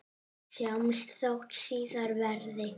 Sjáumst þótt síðar verði.